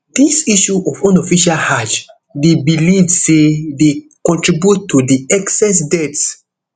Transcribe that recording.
dis issue of unofficial hajj dey believed say dey contribute to di excess deaths